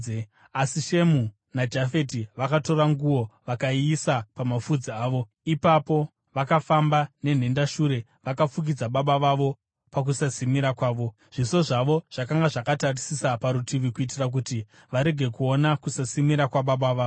Asi Shemu naJafeti vakatora nguo vakayiisa pamapfudzi avo; ipapo vakafamba nenhendashure vakafukidza baba vavo pakusasimira kwavo. Zviso zvavo zvakanga zvakatarisa parutivi kuitira kuti varege kuona kusasimira kwababa vavo.